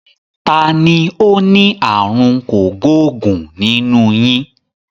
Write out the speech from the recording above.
Tani ó ní àrùn kògbóògùn nínú yín?